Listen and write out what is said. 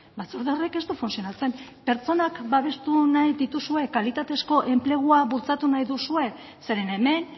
batzorde horrek ez du funtzionatzen pertsonak babestu nahi dituzue kalitatezko enplegua bultzatu nahi duzue zeren hemen